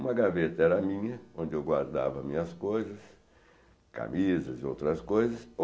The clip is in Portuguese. Uma gaveta era minha, onde eu guardava minhas coisas, camisas e outras coisas.